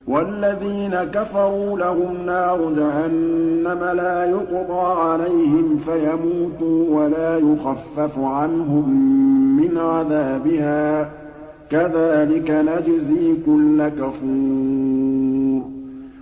وَالَّذِينَ كَفَرُوا لَهُمْ نَارُ جَهَنَّمَ لَا يُقْضَىٰ عَلَيْهِمْ فَيَمُوتُوا وَلَا يُخَفَّفُ عَنْهُم مِّنْ عَذَابِهَا ۚ كَذَٰلِكَ نَجْزِي كُلَّ كَفُورٍ